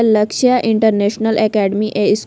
लक्ष्य international academy ए --